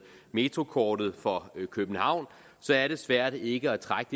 metrokortet for københavn så er det svært ikke at trække